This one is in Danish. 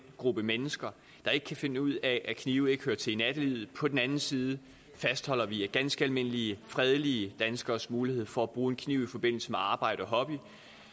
gruppe mennesker der ikke kan finde ud af at knive ikke hører til i nattelivet og på den anden side fastholder vi ganske almindelige fredelige danskeres mulighed for at bruge kniv i forbindelse med arbejde og hobby